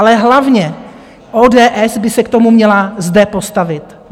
Ale hlavně ODS by se k tomu měla zde postavit.